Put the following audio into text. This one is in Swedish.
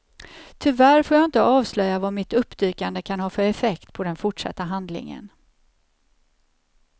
Tyvärr får jag inte avslöja vad mitt uppdykande kan ha för effekt på den fortsatta handlingen.